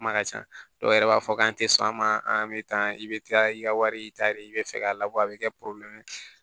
Kuma ka ca dɔw yɛrɛ b'a fɔ k'an tɛ sɔn a ma an bɛ taa i bɛ taa i ka wari ta de i bɛ fɛ k'a labɔ a bɛ kɛ ye